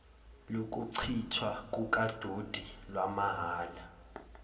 lokuchithwa kukadoti lwamahhala